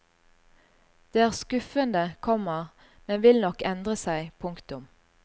Det er skuffende, komma men vil nok endre seg. punktum